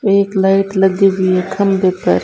ये एक लाइट लगी हुई खंभे पर--